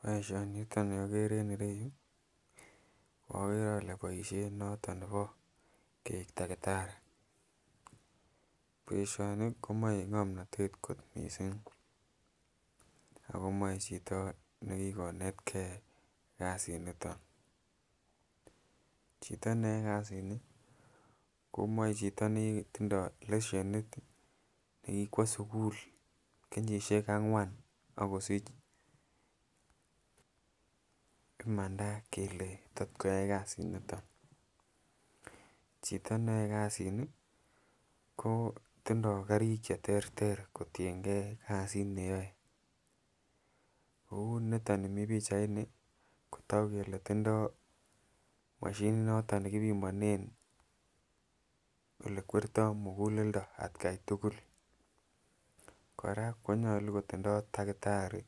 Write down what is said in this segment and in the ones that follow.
Boishoniton ni okere en ireyuu, ko okere ole boishen noton nebo keik takitari. Boishoni komoi ngomnotet kot missing ako moi chito nekikonet gee kasit niton, chito neyoe kasit nii komoi chito netindoi leshenit nekikwo sukul kenyishek angwan ak kosich imanda kele tot koyai kasit niton. Chito neyoe kasinii ko tindoi karik cheterter kotiyengee kasit neyoe kou niton ni Mii pichaini toku kele tindoi moshinit noton nekipimonen ole kwerto mukuleldo atgai tukul, Koraa konyolu kotindoi takitari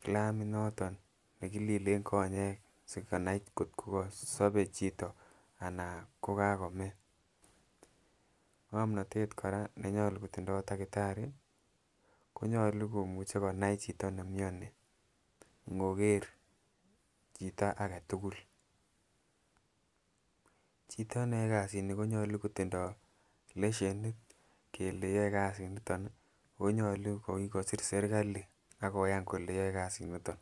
kilamit noton nekililen konyek sikonai kotko sobe chito anan ko kakomee. Ngomnotet Koraa neyolu kotindontakitari konyolu komuche konai chito niemioni inkoker chito agetukul, chito neyoe kasit nii konyolu kotindoi leshenit kele yoe kasit niton nii ako nyolu ko kikosir sirkali akoyan kole yoe kasit niton.